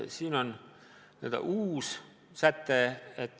Siin on uus säte.